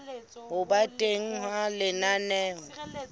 ho ba teng ha lenaneo